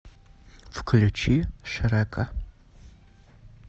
включи шрека